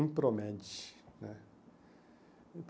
Impromed né.